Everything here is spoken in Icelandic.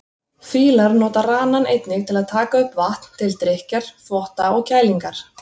Fílar nota ranann einnig til að taka upp vatn, til drykkjar, þvotta og kælingar.